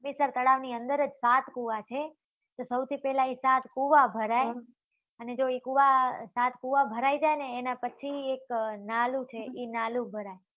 હમીસર તળાવ ની અંદર જ સાત કુવા છે અતો સૌથી પેલા એ સાત કુવા ભરાય હં અને જો એ કુવા સાત કુવા ભરાઈ જાય ને એના પછી એક નાળું છે એ નાળું ભરાય.